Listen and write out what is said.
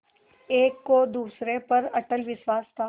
एक को दूसरे पर अटल विश्वास था